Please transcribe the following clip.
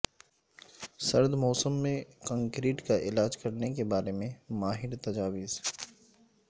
سرد موسم میں کنکریٹ کا علاج کرنے کے بارے میں ماہر تجاویز